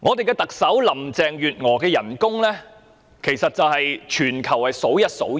特首林鄭月娥薪酬之高，在全球堪稱數一數二。